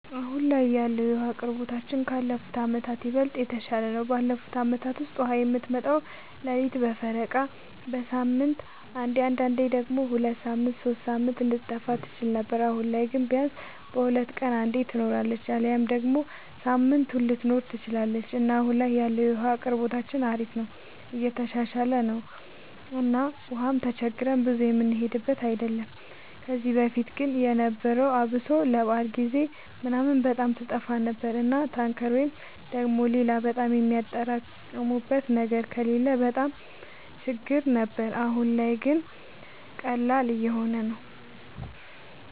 አሁን ላይ ያለወለ የዉሀ አቅርቦታችን ካለፉት አመታት ይበልጥ የተሻለ ነው። ባለፉት አመታት ውስጥ ውሃ የምትመጣው ሌሊት በፈረቃ፣ በሳምንት አንዴ አንዳንዴም ደግሞ ሁለት ሳምንት ሶስት ሳምንት ልትጠፋ ትችል ነበር። አሁን ላይ ግን ቢያንስ በሁለት ቀን አንዴ ትኖራለች አሊያም ደግሞ ሳምንቱንም ልትኖር ትችላለች እና አሁን ላይ ያለው የውሃ አቅርቦታችን አሪፍ ነው የተሻሻለ ነው እና ውሃም ተቸግረን ብዙ የምንሄድበት አይደለም። ከዚህ በፊት ግን የነበረው አብሶ ለበዓል ጊዜ ምናምን በጣም ትጠፋ ነበር እና ታንከር ወይ ደግሞ ሌላ በጣም የሚያጠራቅሙበት ነገር ከሌለ በጣም ችግር ነበር። አሁን ላይ ግን ቀላል እየሆነ ነው።